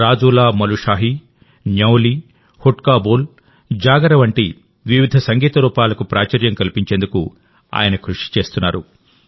రాజూలామలుషాహి న్యౌలీ హుడ్కా బోల్జాగర్ వంటి వివిధ సంగీత రూపాలకు ప్రాచుర్యం కల్పించేందుకు ఆయన కృషి చేస్తున్నారు